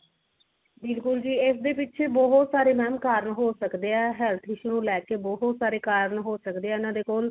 ਬਿਲਕੁਲ ਜੀ ਇਸਦੇ ਪਿਛੇ ਬਹੁਤ ਸਾਰੇ mam ਕਾਰਣ ਹੋ ਸਕਦੇ ਆ health issue ਨੂੰ ਲੈ ਕੇ ਬਹੁਤ ਸਾਰੇ ਕਾਰਣ ਹੋ ਸਕਦੇ ਆ ਇਹਨਾਂ ਦੇ ਕੋਲ